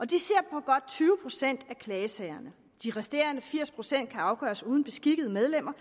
de ser på godt tyve procent af klagesagerne de resterende firs procent kan afgøres uden beskikkede medlemmer